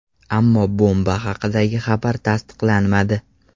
Ammo bomba haqidagi xabar tasdiqlanmadi.